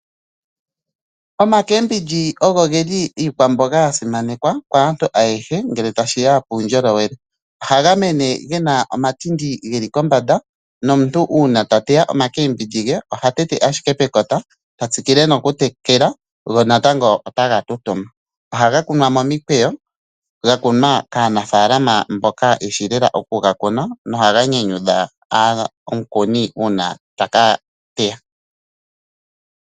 Omacabage ogo geli iikwamboga yasimanekwa kaantu ayehe ngele tashiya kuundjolowele. Ohaga mene gena omatinti geli kombanda nomuntu una tateya oha tete ashike pekota tatsikile noku tekela go natango otaga tu tuma. Ohaga kunwa momikweyo gakunwa kaanafalama mboka yeshishi lela okuga kuna nohaga nyanyudha omukuni una taka teya.